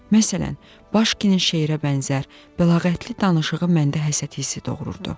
Məsələn, başkinin şeirə bənzər, bəlağətli danışığı məndə həsəd hissi doğururdu.